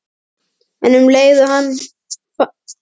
En um leið fann hún að fæturnir loguðu af sársauka.